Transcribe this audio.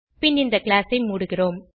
பின் இந்த கிளாஸ் ஐ மூடுகிறோம்